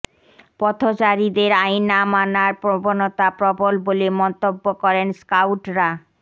পথচারীদের আইন না মানর প্রবণতা প্রবল বলে মন্তব্য করেন স্কাউটরা